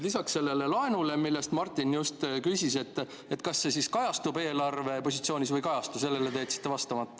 Lisaks, sellele, mida Martin küsis selle laenu kohta, et kas see kajastub eelarvepositsioonis või ei kajastu, jätsite te vastamata.